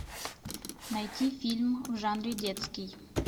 найти фильм в жанре детский